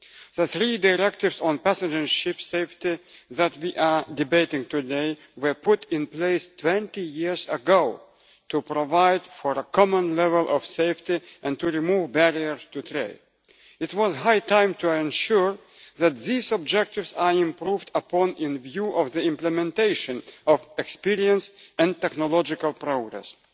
The three directives on passenger and ship safety that we are debating today were put in place 20 years ago to provide for a common level of safety and to remove barriers to trade. It was now high time to ensure that these objectives are improved upon in view of the implementation of experience and technological progress.